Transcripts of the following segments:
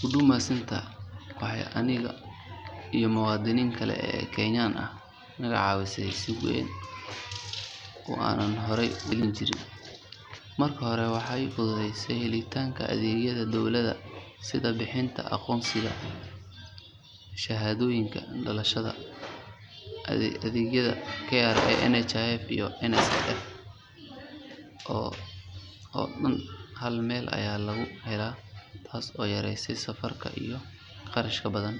Huduma Centre waxay aniga iyo muwaadiniinta kale ee Kenyan ah naga caawisay si weyn oo aanan horay u heli jirin. Marka hore waxay fududeysay helitaanka adeegyada dowladda sida bixinta aqoonsiyada, shahaadooyinka dhalashada, adeegyada KRA, NHIF iyo NSSF oo dhan hal meel ayaa laga helaa taas oo yareysay safar iyo kharash badan.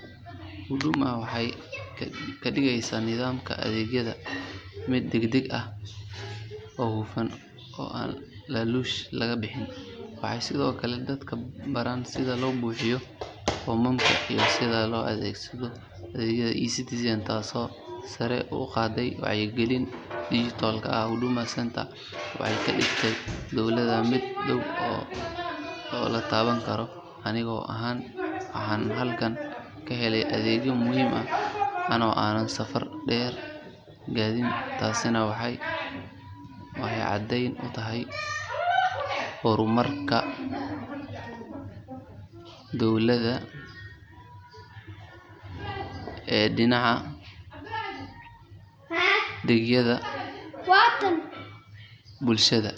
Huduma waxay ka dhigeysaa nidaamka adeegyada mid degdeg ah, hufan oo aan laaluush laga bixin. Waxay sidoo kale dadka baraan sida loo buuxiyo foomamka iyo sida loo adeegsado adeegyada eCitizen taasoo sare u qaaday wacyigelinta dijitaalka ah. Huduma Centre waxay ka dhigtay dowladnimada mid dhow oo la taaban karo. Aniga ahaan waxaan halkaa ka helay adeegyo muhiim ah anoo aanan safar dheer qaadin taasina waxay caddeyn u tahay horumarka dowladda ee dhinaca adeegyada bulshada.